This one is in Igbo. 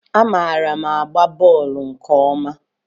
Amaara m agba bọọlu nke ọma.